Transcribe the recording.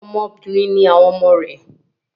Ọmọ obìnrin ni àwọn ọmọ